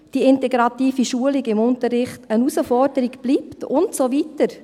Die integrative Schulung bleibt eine Herausforderung und so weiter.